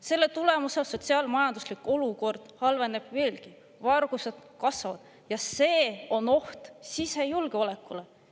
Selle tulemusel sotsiaal-majanduslik olukord halveneb veelgi, varguste kasvab, ja see on oht sisejulgeolekule.